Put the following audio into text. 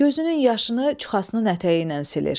Gözünün yaşını çuxasının ətəyi ilə silir.